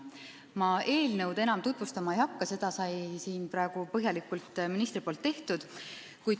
Ma eelnõu enam tutvustama ei hakka, minister tegi seda juba põhjalikult.